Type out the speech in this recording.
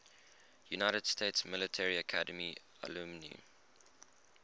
united states military academy alumni